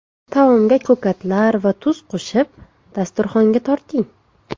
Taomga ko‘katlar va tuz qo‘shib, dasturxonga torting.